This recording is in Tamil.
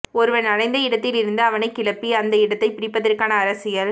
ஒருவன் அடைந்த இடத்திலிருந்து அவனைக் கிளப்பி அந்த இடத்தைப் பிடிப்பதற்கான அரசியல்